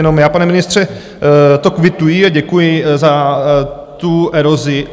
Jenom já, pane ministře, to kvituji a děkuji za tu erozi.